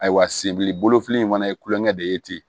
Ayiwa senbili bolofili in fana ye kulonkɛ de ye ten